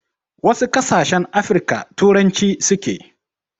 Wasu ƙasashen Afirika turanci suke.